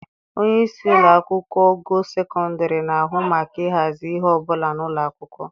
Onye isi ụlọ akwụkwọ ogo sekọndịrị na-ahụ maka ịhazi ihe ọ bụla na ụlọ akwụkwọ.